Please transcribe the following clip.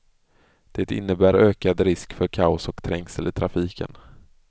Det innebär ökad risk för kaos och trängsel i trafiken.